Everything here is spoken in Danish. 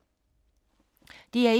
DR1